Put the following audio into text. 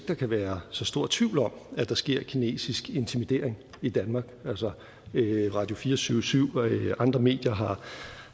der kan være så stor tvivl om at der sker kinesisk intimidering i danmark altså radio24syv og andre medier